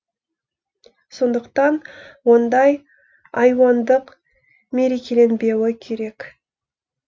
сондықтан ондай айуандық мерекеленбеуі керек